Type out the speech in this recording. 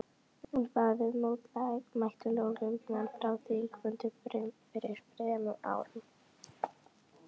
En hvaða viðmóti mættu lögreglumenn frá þingmönnum fyrir þremur árum?